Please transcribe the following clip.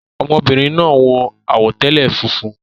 Ọmọbìnrin náà wọ àwọ̀tẹ́lẹ̀ funfun